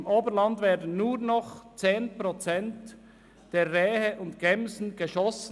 Im Oberland werden nur noch 10 Prozent der Rehe und Gämsen geschossen.